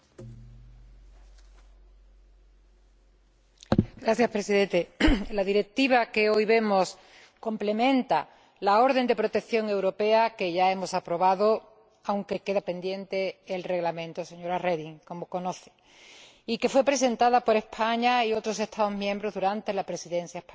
Señor Presidente, la Directiva que hoy debatimos complementa la orden europea de protección que ya hemos aprobado, aunque queda pendiente el reglamento, señora Reding, como usted sabe, y que fue presentada por España y otros Estados miembros durante la Presidencia española. La mejor protección es conseguir que el delito no exista.